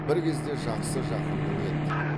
бір кезде жақсы жақының еді